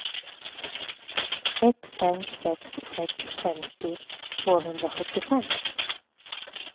ett fem sex sex femtio tvåhundrasjuttiofem